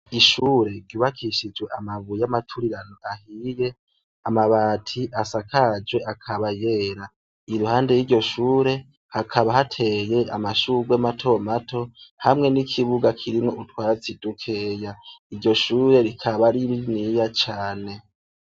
Ishuri ryubakishijwe amabuye ya maturirano ahiye, amabati asakajwe akaba yera, iruhande yiryo shuri hakaba hateye amashurwe mato mato, hamwe n'ikibuga kirimwo utwatsi dukeya, iryo shuri rikaba ari ni niya cane.